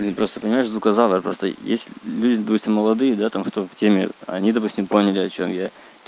ну просто понимаешь заказала просто есть люди молодые да там кто в теме они допустим поняли о чём я